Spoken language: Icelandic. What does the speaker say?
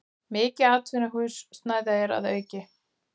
Mikið atvinnuhúsnæði er að auki